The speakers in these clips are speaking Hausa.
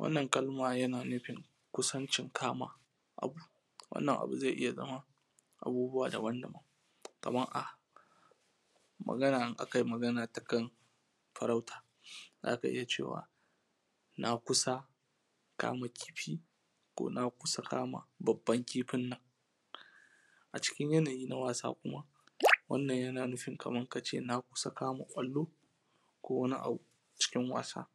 wannan kalma yana nufin ƙusancin kama abu wannan abu zai iya zama abubuwa daban-daban kaman in akayi agana ta kan farauta zaka iya cewa na kusa kama kifi ko na kusa kama babban kifin nan a cikin yanayi na wasa kuma wannan yana nufin kaman kace na kusa kama ƙwallo ko wani abu cikin wasa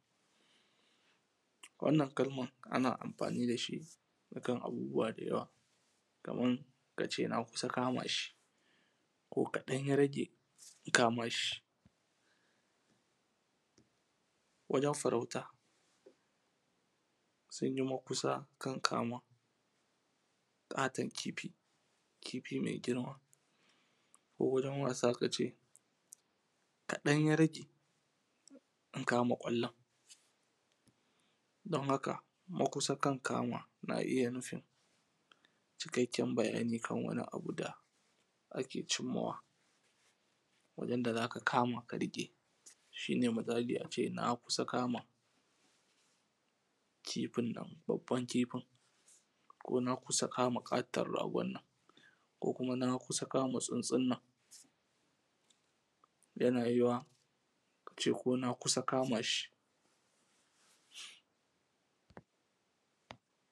wannan kalman ana amfani da shi akan abubuwa da yawa kaman kace na kusa kama shi ko kaɗan ya rage na kama shi wajen farauta sunyi makusa kan kama ƙaton kifi kifi mai girma ko wurin wasa kace kaɗan ya rage na kama ƙwallon don haka makusa kan kama na iya nufin cikakken bayani kan wani abu da ake cimma wa wajen da zaka kama ka riƙe shi ne misali ace na kusa kama kifin nan babban kifin ko na kusa kama ƙaton ragon nan ko kuma na kusa kama tsuntsun nan yana yiwa ace ko na kusa kama shi